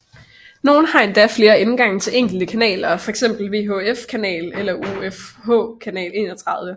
Nogle har endda flere indgange til enkelt kanaler fx VHF kanal 5 eller UHF kanal 31